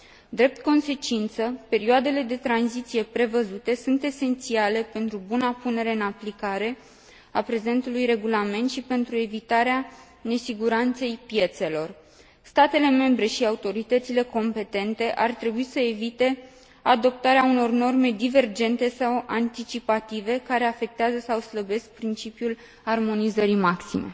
Drept consecință, perioadele de tranziție prevăzute sunt esențiale pentru buna punere în aplicare a prezentului regulament și pentru evitarea nesiguranței piețelor. Statele membre și autoritățile competente ar trebui să evite adoptarea unor norme divergente sau anticipative care afectează sau slăbesc principiul armonizării maxime.